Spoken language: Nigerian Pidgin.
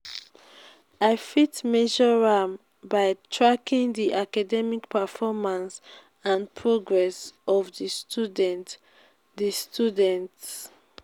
i fit measure am by tracking di academic performance and progress of di students. di students.